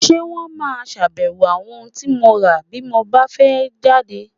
Ṣé wón máa ṣàbẹ̀wò àwọn ohun tí mo rà bí mo bá fẹ́ jáde?